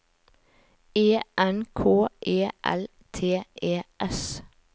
E N K E L T E S